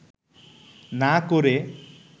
না করে